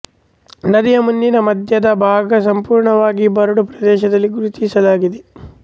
ನದಿಯ ಮುಂದಿನ ಮಧ್ಯದ ಭಾಗ ಸಂಪೂರ್ಣವಾಗಿ ಬರಡು ಪ್ರದೇಶದಲ್ಲಿ ಗುರುತಿಸಲಾಗಿದೆ